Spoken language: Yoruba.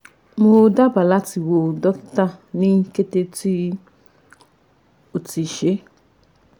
Mo daba lati wo dokita ni kete ti o ti ṣee